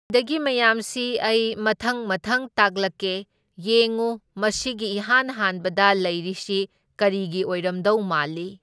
ꯁꯤꯗꯒꯤ ꯃꯌꯥꯝꯁꯤ ꯑꯩ ꯃꯊꯪ ꯃꯊꯪ ꯇꯥꯛꯂꯛꯀꯦ, ꯌꯦꯡꯎ ꯃꯁꯤꯒꯤ ꯏꯍꯥꯟ ꯍꯥꯟꯕꯗ ꯂꯩꯔꯤꯁꯤ ꯀꯔꯤꯒꯤ ꯑꯣꯏꯔꯝꯗꯧ ꯃꯥꯜꯂꯤ?